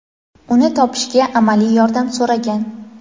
uni topishga amaliy yordam so‘ragan.